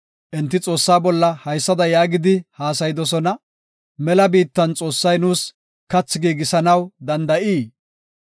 Enti Xoossaa bolla haysada yaagidi haasayidosona; “Mela biittan Xoossay nuus kathi giigisanaw danda7ii?